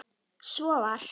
Svo var.